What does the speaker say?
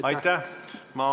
Aitäh!